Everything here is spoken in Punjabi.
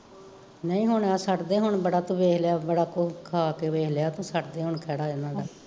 ਨਹੀਂ ਹੁਣ ਛੱਡ ਦੇ ਹੁਣ ਬੜਾ ਤੂੰ ਵੇਖ ਲਿਆ, ਬੜਾ ਕੁਸ਼ ਖਾ ਕੇ ਵੇਖ ਲਿਆ ਤੂੰ ਛੱਡ ਦੇ ਹੁਣ ਖੈੜਾ ਇਹਨਾਂ ਦਾ